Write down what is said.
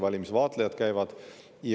Valimisvaatlejad käivad.